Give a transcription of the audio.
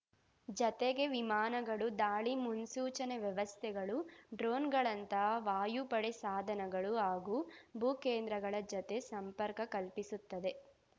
ಜತೆಗೆ ವಿಮಾನಗಳು ದಾಳಿ ಮುನ್ಸೂಚನೆ ವ್ಯವಸ್ಥೆಗಳು ಡ್ರೋನ್‌ಗಳಂತಹ ವಾಯುಪಡೆ ಸಾಧನಗಳು ಹಾಗೂ ಭೂ ಕೇಂದ್ರಗಳ ಜತೆ ಸಂಪರ್ಕ ಕಲ್ಪಿಸುತ್ತದೆ